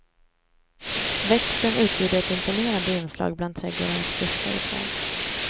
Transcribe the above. Växten utgjorde ett imponerande inslag bland trädgårdarnas buskar och träd.